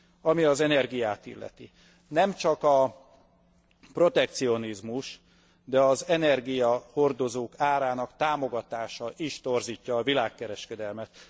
Ami az energiát illeti nem csak a protekcionizmus, de az energiahordozók árának támogatása is torzítja a világkereskedelmet.